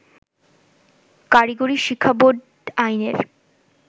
কারিগরি শিক্ষাবোর্ড আইনের